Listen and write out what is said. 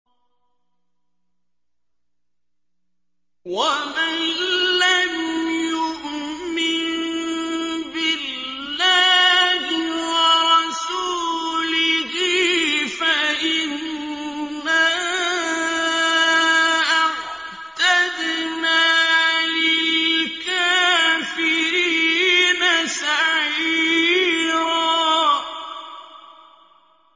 وَمَن لَّمْ يُؤْمِن بِاللَّهِ وَرَسُولِهِ فَإِنَّا أَعْتَدْنَا لِلْكَافِرِينَ سَعِيرًا